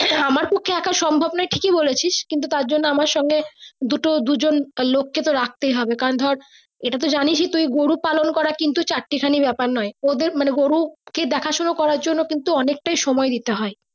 তোকে এক সম্ভব নয় টিকিই বলেছি তারজন্য আমের সঙ্গে দুটো দুজন লোক কে তো রাখতে হবে কারণ ধর এটা তো তুই গরু পালন করা চারটি ক্ষানিক ব্যাপার নয় ওদের মানে গরু দেখা সোনা করে জন্য কিন্তু অনেকটাই সময় দিতে হয়।